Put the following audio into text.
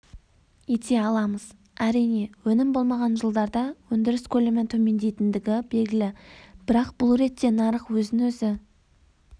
ете аламыз әрине өнім болмаған жылдарда өндіріс көлемі төмендейтіндігі белгілі бірақ бұл ретте нарық өзін-өзі